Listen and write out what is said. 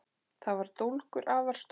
Þar var dólgur, afar stór